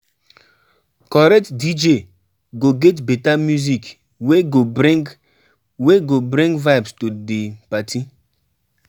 Correct DJ go get beta music wey go bring wey go bring vibes to di party.